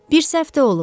Bir səhv də olub.